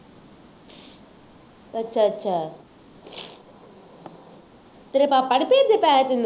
ਅੱਛਾ ਅੱਛਾ ਤੇਰੇ ਪਾਪਾ ਨਹੀਂ ਭੇਜਦੇ ਪੈਸੇ ਤੈਨੂੰ